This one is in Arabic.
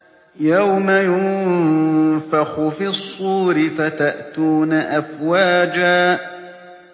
يَوْمَ يُنفَخُ فِي الصُّورِ فَتَأْتُونَ أَفْوَاجًا